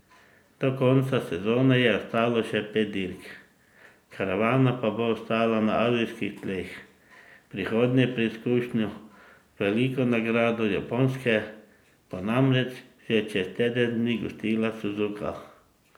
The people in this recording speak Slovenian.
Do konca sezone je ostalo še pet dirk, karavana pa bo ostala na azijskih tleh, prihodnjo preizkušnjo, veliko nagrado Japonske, bo namreč že čez teden dni gostila Suzuka.